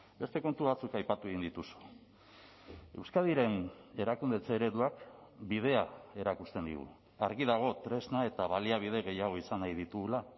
beste kontu batzuk aipatu egin dituzu euskadiren erakundetze ereduak bidea erakusten digu argi dago tresna eta baliabide gehiago izan nahi ditugula